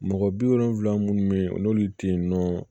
Mɔgɔ bi wolonfila munnu be yen olu te yen nɔ